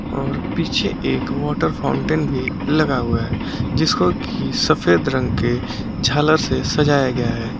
और पीछे एक वाटर फाउंटेन भी लगा हुआ है जिसको की सफेद रंग के झालर से सजाया गया है।